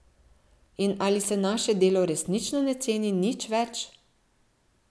In ali se naše delo resnično ne ceni nič več?